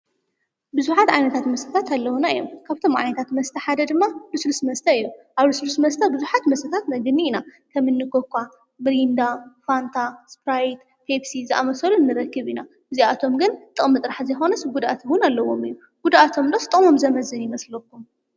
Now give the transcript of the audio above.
ቡዝሓት ዓይነታት መስተታት ኣለውና እዮም ። ካብቶም ዓይነታት መስተ ሓደ ድማ ልሱልስ መስተ እዮ ። ኣብ ልሱልስ መስተ ቡዝሓት መስተታት ነግኒ ኢና ። ከም እኒ ኮካ፣ ምሪንዳ ፣ ፋንታ፣ እስፕራይትን ፔፕሲ ዝኣመሰሉ ንረክብ ኢና ። እዚኣቶም ግን ጥቅሚ ጥራሕ ዘይኮነስ ጉደኣት እውን ኣለዎም እዩ ። ጉደኣቶም ዶ ጥቅሞም ዘምዝን ይመስለኩ?